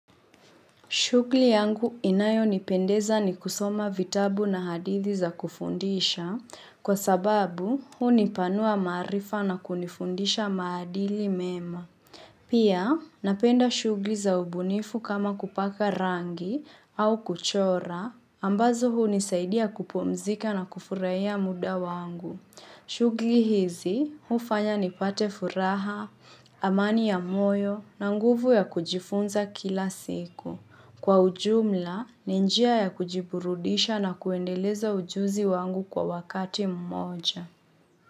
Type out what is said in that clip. Shughuli yangu inayonipendeza ni kusoma vitabu na hadithi za kufundisha kwa sababu hunipanua maarifa na kunifundisha maadili mema. Pia ninapenda shughuli za ubunifu kama kupaka rangi au kuchora ambazo hunisaidia kupumzika na kufurahia muda wangu. Shughyli hizi hufanya nipate furaha, amani ya moyo na nguvu ya kujifunza kila siku. Kwa ujumla, ni njia ya kujiburudisha na kuendeleza ujuzi wangu kwa wakati mmoja.